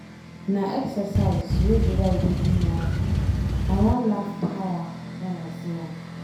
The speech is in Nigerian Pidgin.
Na exercise wey July dey do now. I wan laugh tire wen I see am